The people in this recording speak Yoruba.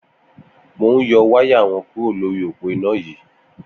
Mó n yọ wàyá wọn kùró lóri ópó iná yi